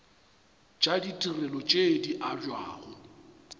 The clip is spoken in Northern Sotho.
tša ditirelo tše di abjago